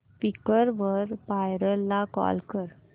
Quikr वर buyer ला call कर